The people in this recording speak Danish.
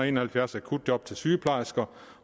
en og halvfjerds akutjob til sygeplejersker